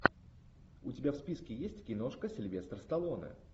у тебя в списке есть киношка сильвестр сталлоне